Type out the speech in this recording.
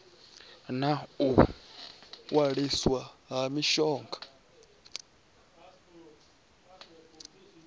na u waliswa ha mishonga